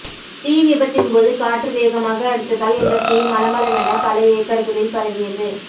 தீவிபத்தின்போது காற்று வேகமாக அடித்ததால் இந்த தீ மளமளவென் பல ஏக்கர்களில் பரவியது